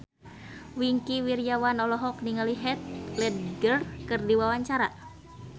Wingky Wiryawan olohok ningali Heath Ledger keur diwawancara